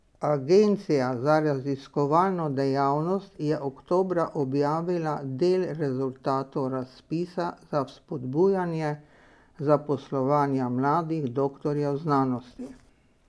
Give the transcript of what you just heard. Agencija za raziskovalno dejavnost je oktobra objavila del rezultatov razpisa za spodbujanje zaposlovanja mladih doktorjev znanosti.